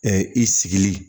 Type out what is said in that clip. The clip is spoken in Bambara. i sigili